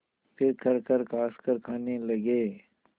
फिर खरखर खाँसकर खाने लगे